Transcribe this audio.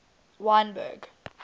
wynberg